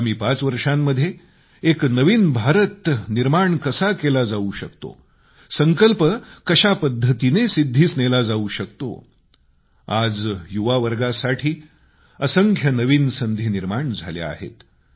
आगामी पाच वर्षांमध्ये एका नवीन भारताचे निर्माण कसे केले जावू शकते संकल्प कशापद्धतीने सिद्धीस नेला जावू शकतो आज युवावर्गासाठी असंख्य नवीन संधी निर्माण झाल्या आहेत